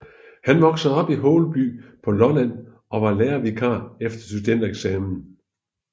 Han voksede op i Holeby på Lolland og var lærervikar efter studentereksamen